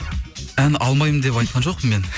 ән алмаймын деп айтқан жоқпын мен